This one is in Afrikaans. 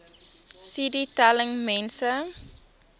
cd telling mense